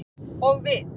Og við.